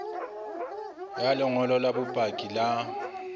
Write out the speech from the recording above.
ya lengolo la bopaki la